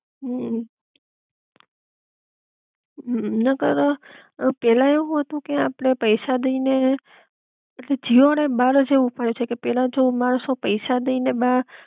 હમ નકર અ પેલા એવું હતું કે આપડે પૈસા દઈ ને પછી જીઓ વાળા એ બાર જ એવું પડ્યું છે કે પેલા જો મણસો પૈસા દઈ ને બાર